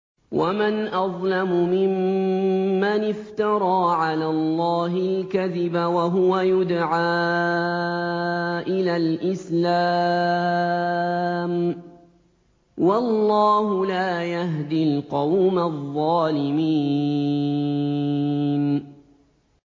وَمَنْ أَظْلَمُ مِمَّنِ افْتَرَىٰ عَلَى اللَّهِ الْكَذِبَ وَهُوَ يُدْعَىٰ إِلَى الْإِسْلَامِ ۚ وَاللَّهُ لَا يَهْدِي الْقَوْمَ الظَّالِمِينَ